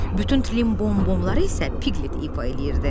Bütün Trimbom-bomları isə Piklit ifa eləyirdi.